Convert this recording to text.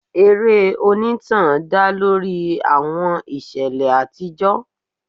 Eré onítàn dá lórí àwọn ìṣẹ̀lẹ̀ àtijọ́.